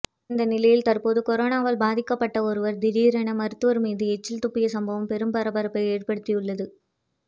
இந்த நிலையில் தற்போது கொரோனாவால் பாதிக்கப்பட்ட ஒருவர் திடீரென மருத்துவர் மீது எச்சில் துப்பிய சம்பவம் பெரும் பரபரப்பை ஏற்படுத்தியுள்ளது